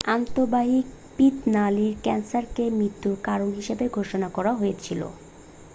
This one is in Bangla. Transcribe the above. আন্তঃবাহিক পিত্ত নালীর ক্যান্সারকে মৃত্যুর কারণ হিসাবে ঘোষণা করা হয়েছিল